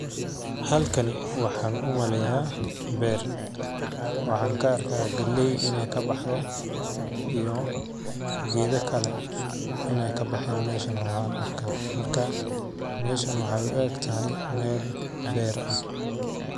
Halkani waxaan u maleyaa beer ,waxaan ka arkaa galleey ineey ka baxdo iyo geeda kale ineey ka baxeen meeshan oo aan arkaa .Markaa meeshan waxeey u egtahay meel beer ah .